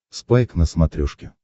спайк на смотрешке